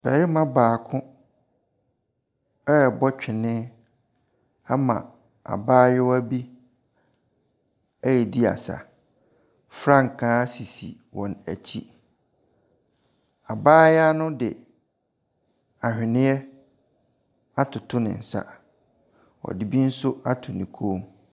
Barima baako rebɔ twene ama abaayewa bi redi asa. Frankaa sisi wɔn akyi. Abaayewa no de ahweneɛ atoto ne nsa. Ɔde bi nso ato ne kɔn mu.